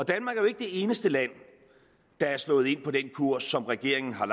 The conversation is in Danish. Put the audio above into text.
er jo ikke det eneste land der er slået ind på den kurs som regeringen har